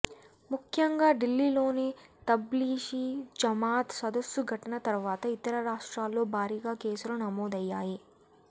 ముఖ్యంగా ఢిల్లీలోని తబ్లిఘీ జమాత్ సదస్సు ఘటన తర్వాత ఇతర రాష్ట్రాల్లో భారీగా కేసులు నమోదయ్యాయి